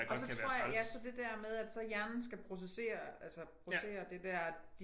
Og så tror jeg ja så det der med at så hjernen skal processere altså processere det der at